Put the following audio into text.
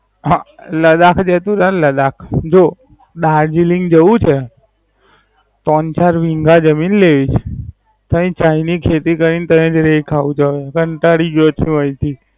હા, લડાખ લેતું જ ન લડાખ. જો દાર્જલિંગ જવું છે. ત્રણચાર વીઘા જમીન લેવીછ. તૈણ ચાર ની ખેતી કરીન તઇ જ રઈ ખાવું છે. કંટાળી ગયો છું અહીં થી.